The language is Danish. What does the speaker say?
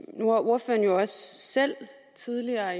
ordføreren jo også selv tidligere